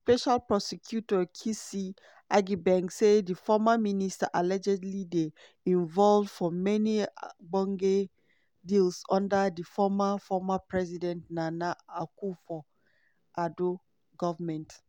special prosecutor kissi agyebeng say di former minister allegedly dey involved for many ogbonge deals under di former former president nana akufo-addo goment.